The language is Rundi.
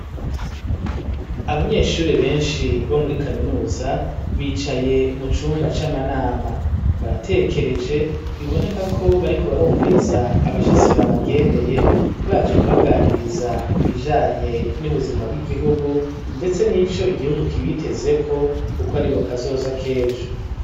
Abanyeshuri benshi bo muri kaminuza bicaye mu cumba c'amanama baratekereje biboneka ko bari ku barumviriza abashitsi babagendeye baje kubaganiriza ku bijanye n'ubuzima bw'igihugu, ndetse n'ico igihugu kibitezeko, kuko ari bo kazoza k'ejo.